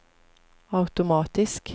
automatisk